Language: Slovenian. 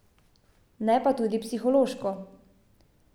Ne pa tudi psihološko.